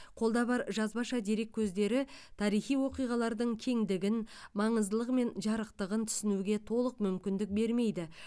қолда бар жазбаша дерек көздері тарихи оқиғалардың кеңдігін маңыздылығы мен жарықтығын түсінуге толық мүмкіндік бермейді